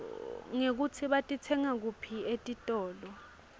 nekutsi batitsenga kuphi etitolo